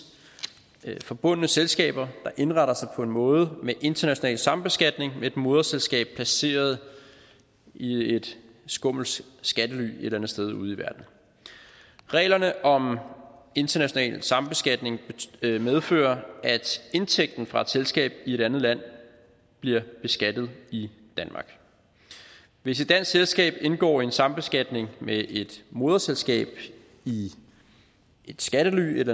forbundne selskaber der indretter sig på en måde med international sambeskatning med et moderselskab placeret i et skummelt skattely et eller andet sted ude i verden reglerne om international sambeskatning medfører at indtægten fra et selskab i et andet land bliver beskattet i danmark hvis et dansk selskab indgår en sambeskatning med et moderselskab i et skattely et